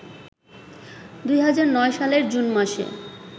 ২০০৯ সালের জুন মাসে